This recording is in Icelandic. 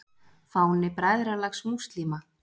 Fáni Bræðralags múslíma.